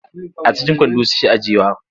A cikin kwando suke ajiyewa.